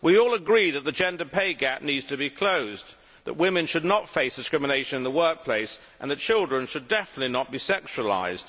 We all agree that the gender pay gap needs to be closed, that women should not face discrimination in the workplace and that children should definitely not be sexualised.